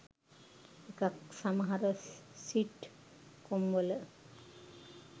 ඒකත් සමහර සිට් කොම්වල